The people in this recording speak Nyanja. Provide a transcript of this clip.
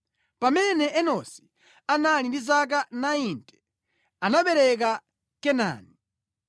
Pamene Enosi anali ndi zaka 90, anabereka Kenani.